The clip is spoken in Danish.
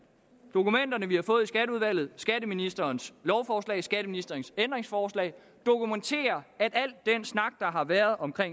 dokumenter vi har fået i skatteudvalget skatteministerens lovforslag skatteministerens ændringsforslag dokumenterer at al den snak der har været om